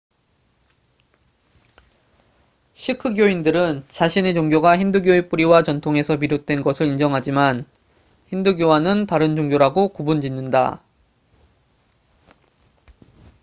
시크교인들은 자신의 종교가 힌두교의 뿌리와 전통에서 비롯된 것을 인정하지만 힌두교와는 다른 종교라고 구분 짓는다